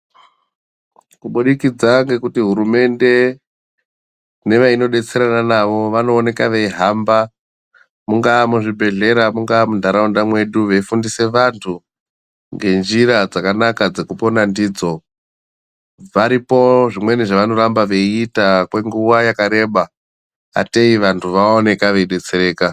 Kubudikidza ngekuti hurumende nevainobetserana navo vanooneka veihamba munga muzvibhedhlera, mungaa mundau mwedu veifundisa vantu nenjira dzakanaka dzekupona ndidzo. Varipo zvemweni zvavanoramba veiita kwenguva yakareba atei vantu vaoneka veidetsereka.